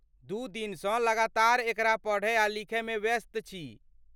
दू दिनसँ लगातार एकरा पढ़य आ लिखय मे व्यस्त छी।